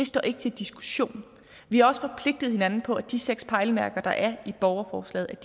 det står ikke til diskussion vi har også forpligtet hinanden på at de seks pejlemærker der er i borgerforslaget